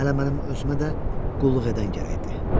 Hələ mənim özümə də qulluq edən yoxdur.